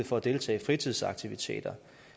for at deltage i fritidsaktiviteter